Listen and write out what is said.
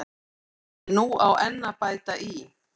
En nú á enn að bæta í.